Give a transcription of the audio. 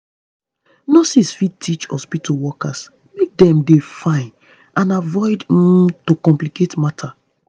nurses fit teach hospitu workers make dem dey fine and avoid um to complicate matter